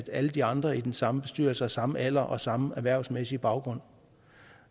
alle de andre i den samme bestyrelse har samme alder og samme erhvervsmæssige baggrund